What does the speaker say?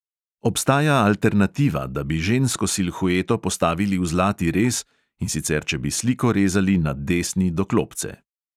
Obstaja alternativa, da bi žensko silhueto postavili v zlati rez, in sicer če bi sliko rezali na desni do klopce.